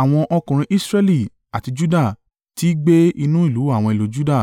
Àwọn ọkùnrin Israẹli àti Juda ti gbe inú àwọn ìlú Juda